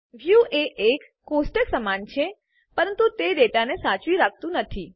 વ્યું એ એક ટેબલ કોષ્ટક સમાન છે પરંતુ તે ડેટાને સાચવી રાખી શકતું નથી